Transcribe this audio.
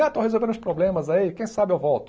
Ah estou resolvendo uns problemas aí, quem sabe eu volto.